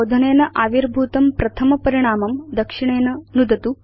शोधनेन आविर्भूतं प्रथम परिणामं दक्षिणेन नुदतु